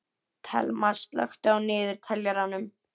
Thelma, slökktu á niðurteljaranum.